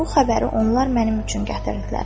Bu xəbəri onlar mənim üçün gətirdilər.